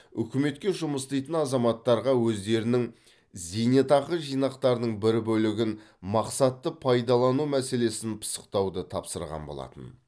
үкіметке жұмыс істейтін азаматтарға өздерінің зейнетақы жинақтарының бір бөлігін мақсатты пайдалану мәселесін пысықтауды тапсырған болатын